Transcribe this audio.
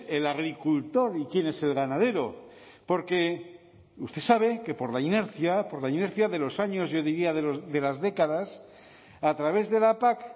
el agricultor y quién es el ganadero porque usted sabe que por la inercia por la inercia de los años yo diría de las décadas a través de la pac